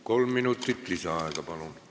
Kolm minutit lisaaega, palun!